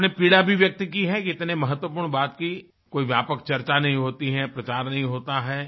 आपने पीड़ा भी व्यक्त की है कि है इतने महत्वपूर्ण बात की कोई व्यापक चर्चा नहीं होती है प्रचार नहीं होता है